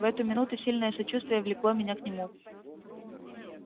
в эту минуту сильное сочувствие влекло меня к нему